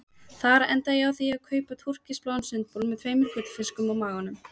Þar endaði ég á því að kaupa túrkisbláan sundbol með tveimur gullfiskum á maganum.